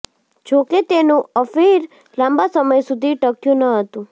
જો કે તેનું અફેયર લાંબા સમય સુધી ટક્યું ન હતું